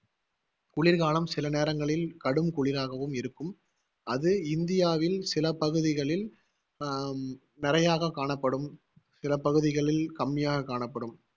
குளிர்காலம் சில நேரங்களில் கடும் குளிராகவும் இருக்கும் அது இந்தியாவில் சில பகுதிகளில் ஹம் நிறையாக காணப்படும் சில பகுதிகளில் கம்மியாக கணப்படும்